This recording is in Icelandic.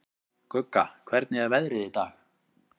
Gugga, hvernig er veðrið í dag?